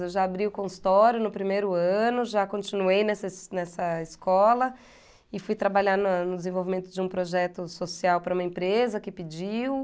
Eu já abri o consultório no primeiro ano, já continuei nessa nessa escola e fui trabalhar na no desenvolvimento de um projeto social para uma empresa que pediu.